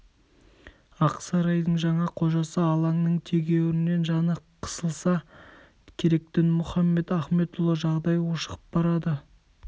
ақ сарайдың жаңа қожасы алаңның тегеуріннен жаны қысылса керек дінмұхамед ахметұлы жағдай ушығып барады